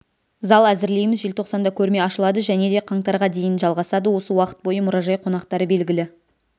зал әзірлейміз желтоқсанда көрме ашылады жәнеде қаңтарға дейін жалғасады осы уақыт бойы мұражай қонақтары белгілі